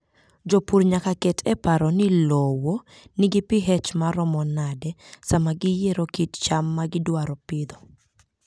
Jopur nyaka ket e paro ni lowo nigi pH maromo nade sama giyiero kit cham ma gidwaro pidho.